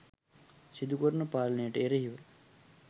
සිදු කරන පාලනයට එරෙහිව